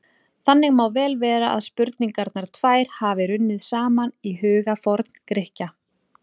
Þannig má vel vera að spurningarnar tvær hafi runnið saman í huga Forngrikkja.